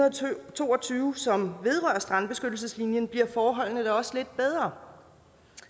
to og tyve som vedrører strandbeskyttelseslinjen bliver forholdene også lidt bedre